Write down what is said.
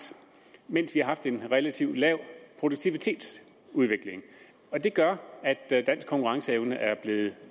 mens vi har haft en relativt lav produktivitetsudvikling og det gør at dansk konkurrenceevne er blevet